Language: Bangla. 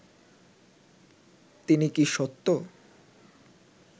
তিনি কি সত্য